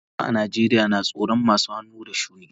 Talakawa a Najeriya na jin tsoron masu hannu da shuni.